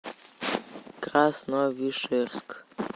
красновишерск